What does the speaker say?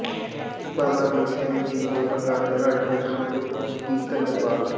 ਬਾਬਾ ਦੀਪ ਸਿੰਘ ਜੀ ਦੇ ਪ੍ਰਕਾਸ਼ ਦਿਹਾੜੇ ਨੂੰ ਸਮਰਪਿਤ ਕੀਰਤਨ ਦਰਬਾਰ